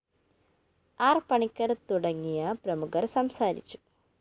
ആര്‍ പണിക്കര്‍ തുടങ്ങിയ പ്രമുഖര്‍ സംസാരിച്ചു